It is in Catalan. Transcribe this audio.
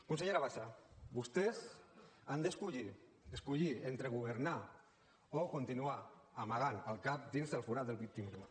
consellera bassa vostès han d’escollir escollir entre governar o continuar amagant el cap dins el forat del victimisme